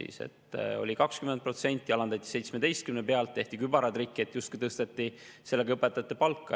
See oli 20%, alandati 17% peale, tehti kübaratrikk, et justkui tõsteti sellega õpetajate palka.